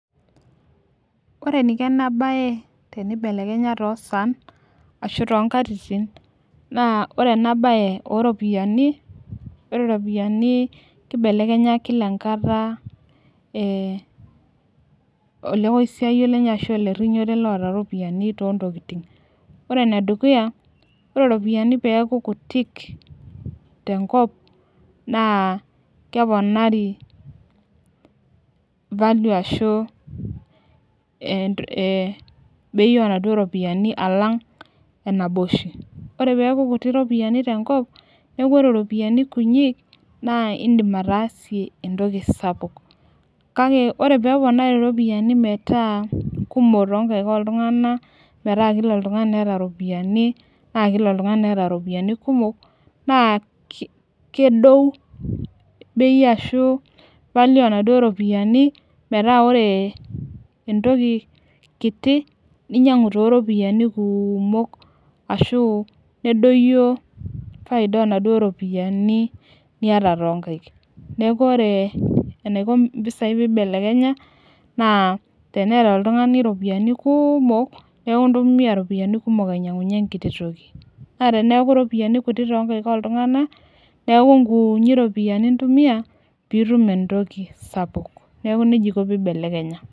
Ore eniko ena siai, pee ibelekenya too saan, ashu too nkatitin, naa ore ena bae ooropiyiani, ore ropiyiani kibelekenya Kila enkata olekosiayio, lenye ashu oleerinyore. ore ene dukuya, ore ropiyiani kutitik tenkop, naa keponari value ashu bei oo naduoo ropiyiani ashu enaba oshi. Ore peeku ropiyiani kutitik tenkop neeku idim ataasie entoki sapuk, kake ore peeponari ropiyiani metaa kumok too nkaik ooltungana. meetaa Kila oltungani neeta ropiyiani, naa Kila oltungani neeta ropiyiani kumok naa, kedou bei ashu value onaduoo ropiyiani. metaa ore entoki kiti, ninyiangu too ropiyiani kumok ashu, nedoyio faida oonaduo ropiyiani niyata too nkaik. neeku ore, enaiko mpisai pee Ibelekenya. teneeta oltungani iropiyiani kumok neeku ntumuanl ropiyiani kumok ainyiangunye enkiti toki. naa teneeku ropiyiani kumok too nkaik oltungana.